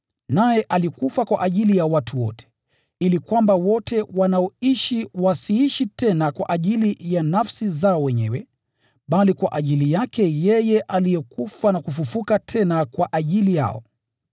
Naye alikufa kwa ajili ya watu wote, ili kwamba wote wanaoishi wasiishi tena kwa ajili ya nafsi zao wenyewe, bali kwa ajili yake yeye aliyekufa na kufufuliwa tena kwa ajili yao.